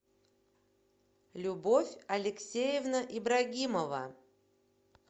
любовь алексеевна ибрагимова